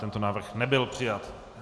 Tento návrh nebyl přijat.